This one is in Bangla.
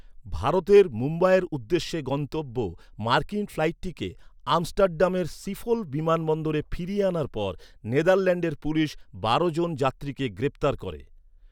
ভারতের মুম্বাইয়ের উদ্দেশ্যে গন্তব্য মার্কিন ফ্লাইটটিকে আমস্টারডামের শিফোল বিমানবন্দরে ফিরিয়ে আনার পর নেদারল্যান্ডের পুলিশ বারো জন যাত্রীকে গ্রেপ্তার করে।